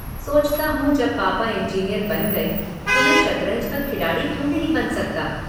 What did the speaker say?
सोचता हूं जब पापा इंजीनियर बन गए तो मैं शतरंज का खिलाड़ी क्यों नहीं बन सकता?